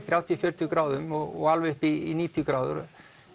þrjátíu gráðum og alveg upp í níutíu gráður